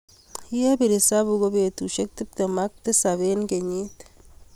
ye ipir esabu ko betushe tepte m ak tisap eng kenyii.